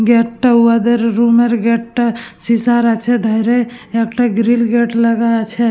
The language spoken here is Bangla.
গেট টা উহাদের রুম এর গেট টা সিসার আছে ধারে একটা গ্রিল গেট লাগা আছে।